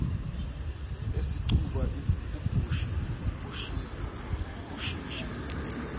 eseqhuba ubhisi oshisha